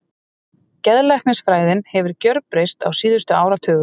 Geðlæknisfræðin hefur gjörbreyst á síðustu áratugum.